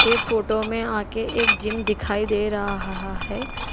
ये फोटो में आगे एक जिम दिखाई दे रहाहा है।